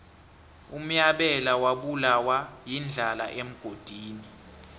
unyabela wabulawa yindlala emgodini